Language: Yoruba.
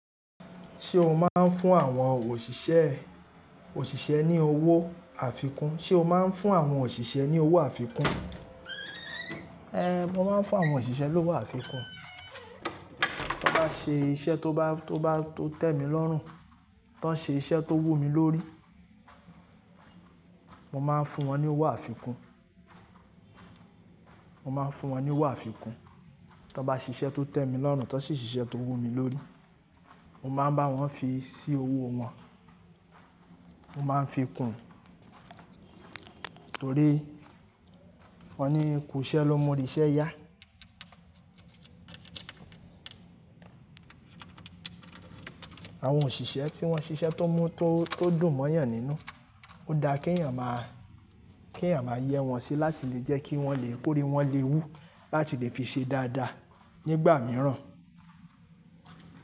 Ṣé o máa ń fún àwọn òṣìṣẹ́, òṣìṣẹ́ ní owó àfikún? Ṣé o máa ń fún àwọn òṣìṣẹ́ ní owó àfikún? Ée, mo máa ń fún àwọn òṣìṣẹ́ lówó àfikún. Tí wọ́n bá ṣe iṣẹ́ tó bá, tó bá tó tẹ́ mi lọ́rùn, tí wọ́n ṣe iṣẹ́ tó wú mi lórí, mo máa ń fún wọn ní owó àfikún, mo máa ń fún wọn ní owó àfikún. Tí wọ́n bá ṣe iṣẹ́ tó tẹ́ mi lọ́rùn, tí wọ́n ṣe iṣẹ́ tó wú mi lórí, mo máa ń bá wọn fi sí owó wọn, mo máa ń fi kùn ún. Nítorí wọ́n ní "kò ṣẹ́ ló mú ríṣẹ́ yá". Àwọn òṣìṣẹ́ tí wọ́n ṣe iṣẹ́ tó mú, tó, tó dùn mọ́yàn nínú, ó dá kí èèyàn máa, kí èèyàn máa yẹ́ wọn sí láti lè jẹ́ kí wọ́n lè kó rí wọ́n le wú láti lè fi ṣe dáadáa nígbà mìíràn.